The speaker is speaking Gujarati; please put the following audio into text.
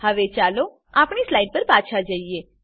હવે ચાલો આપણી સ્લાઈડ પર પાછા જઈએ